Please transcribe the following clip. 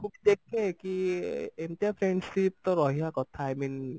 ମୁଁ ବି ଦେଖେ କି ଏମିତିଆ friendship ତ ରହିବା କଥା i mean